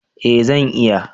Eh, zan iya